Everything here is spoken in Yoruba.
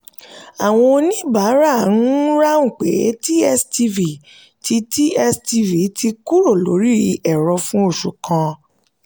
àwọn oníbàárà ń ráhùn pé tstv ti tstv ti kúrò lórí ẹ̀rọ fún oṣù kan.